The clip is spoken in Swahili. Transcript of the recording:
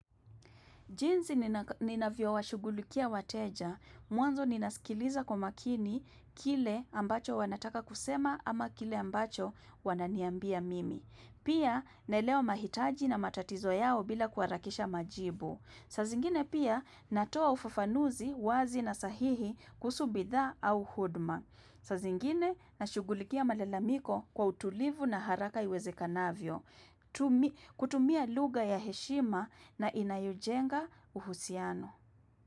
Jinsi ninavyo washughulikia wateja. Mwanzo ninasikiliza kwa makini kile ambacho wanataka kusema ama kile ambacho wananiambia mimi. Pia naelewa mahitaji na matatizo yao bila kuarakisha majibu. Saa zingine pia natoa ufufanuzi wazi na sahihi kusuhu bidhaa au huduma. Saa zingine nashughulikia malalamiko kwa utulivu na haraka iweze kanavyo. Kutumia lugha ya heshima na inayojenga uhusiano.